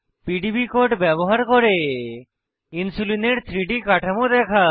PDB code ব্যবহার করে ইনসুলিনের 3ডি কাঠামো দেখা